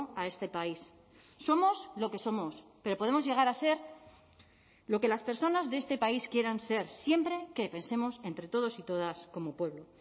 a este país somos lo que somos pero podemos llegar a ser lo que las personas de este país quieran ser siempre que pensemos entre todos y todas como pueblo